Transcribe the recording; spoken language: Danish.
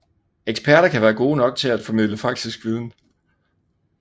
Eksperter kan være gode nok til at formidle faktisk viden